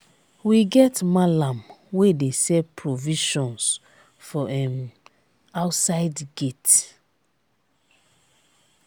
we get mallam wey dey sell provisions for um outside gate.